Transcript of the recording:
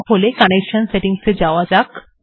তাহলে connection settings এ যাওয়া যাক